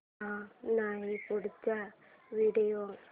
हा नाही पुढचा व्हिडिओ